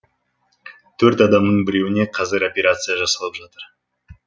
төрт адамның біреуіне қазір операция жасалып жатыр